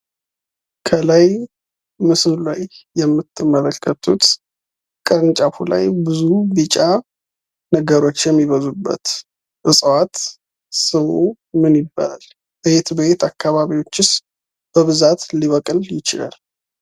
ከላይ ምስሉ ላይ የምትመለከቱት ከእንጨቱ ላይ ቢጫ ነገሮች የሚበዙበት እፅዋት ስሙ ምን ይባላል? በየት በየት አካባቢዎችስ በብዛት ሊበቅል ይችላል?